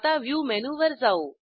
आता व्ह्यू मेनूवर जाऊ